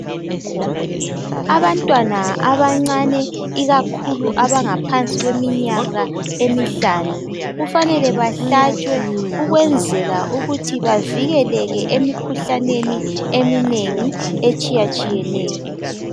Abantwana abancane ikakhulu abangaphansi kweminyaka emihlanu kufanele bahlatsjwe ukwenzela ukuthi bavikeleke emikhuhlaneni eminengi etshiyatshiyeneyo